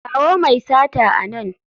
Kawo mai sata a nan!